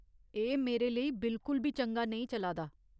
एह् मेरे लेई बिलकुल बी चंगा नेईं चला दा।